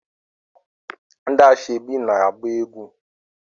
Ndi asoebi na-agba egwu